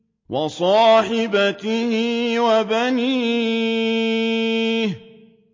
وَصَاحِبَتِهِ وَبَنِيهِ